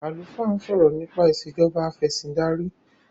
alufaa n sọrọ nipa Ìṣèjọba Afẹ̀sìndarí